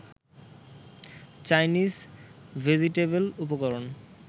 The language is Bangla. চাইনিজ ভেজিটেবল উপকরণ